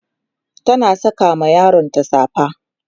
tana Saka ma yaronta safa